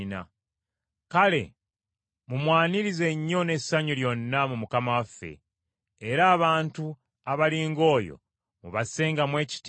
Kale mumwanirize nnyo n’essanyu lyonna mu Mukama waffe, era abantu abali ng’oyo mubassangamu ekitiibwa,